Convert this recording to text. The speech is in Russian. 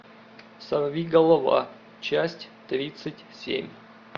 сорви голова часть тридцать семь